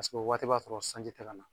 o waati b'a sɔrɔ sanji tɛ ka na